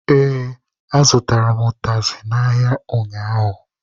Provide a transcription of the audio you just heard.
Ee, azụtara m ụtazị n'ahịa ụnyaahụ.